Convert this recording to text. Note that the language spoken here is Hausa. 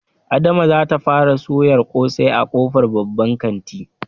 Adama zata fara soyar ƙosai a ƙofar babban kantin